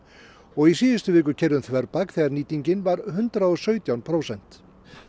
og í síðustu viku keyrði um þverbak þegar nýting var hundrað og sautján prósent